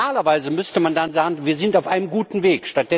Normalerweise müsste man dann sagen Wir sind auf einem guten Weg.